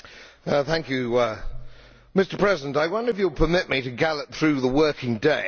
Mr President, I wonder if you will permit me to gallop through the working day of the average Englishman.